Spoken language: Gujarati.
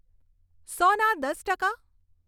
સો ના દસ ટકા